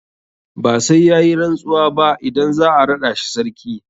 Ba sai ya yi rantsuwa ba idan za a raɗa shi sarki.